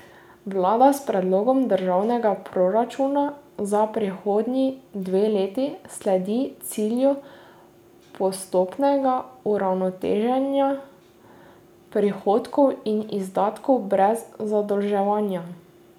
Vlada s predlogom državnega proračuna za prihodnji dve leti sledi cilju postopnega uravnoteženja prihodkov in izdatkov brez zadolževanja.